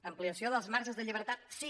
ampliació dels marges de llibertat sí